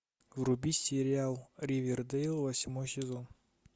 вруби сериал ривердейл восьмой сезон